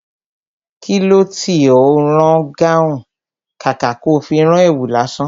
Kilo tí ó ń rán gáhùn, kàkà tó fi rán èwù lásán?